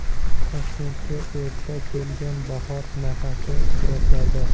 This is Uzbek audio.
Toshkentga erta kelgan bahor nafasi suratlarda.